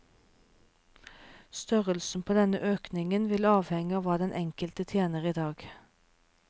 Størrelsen på denne økningen vil avhenge av hva den enkelte tjener i dag.